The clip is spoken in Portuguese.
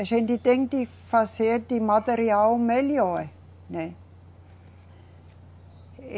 A gente tem que fazer de material melhor, né.